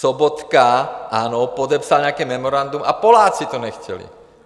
Sobotka, ano, podepsal nějaké memorandum, a Poláci to nechtěli.